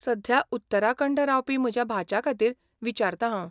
सध्या उत्तराखंड रावपी म्हज्या भाच्याखातीर विचारतां हांव.